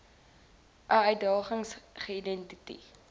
i uitdagings geïdenti